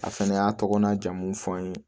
A fɛnɛ y'a tɔgɔ n'a jamu fɔ n ye